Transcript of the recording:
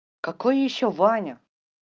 какой ещё ваня